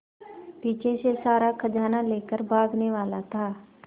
पीछे से सारा खजाना लेकर भागने वाला था